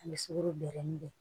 Ani sukaro bɛrɛ min bɛ